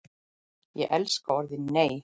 Ég elskaði orðið NEI!